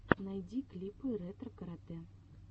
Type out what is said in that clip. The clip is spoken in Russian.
найди клипы ретро карате